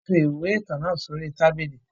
Wọn fi ìwé ìtàn náà sì orí tábìlì